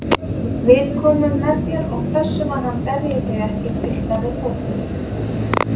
Við komum með þér og pössum að hann berji þig ekki hvíslaði Tóti.